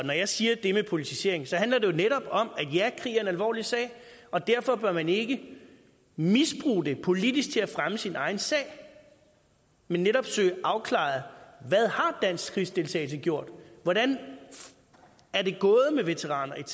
når jeg siger det med politisering handler det jo netop om at ja krig er en alvorlig sag og derfor bør man ikke misbruge det politisk til at fremme sin egen sag men netop søge afklaret hvad dansk krigsdeltagelse har gjort hvordan er det gået med veteraner etc